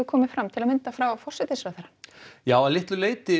komið fram til að mynda frá forsætisráðherra já að litlu leyti